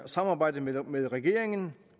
samarbejdet med regeringen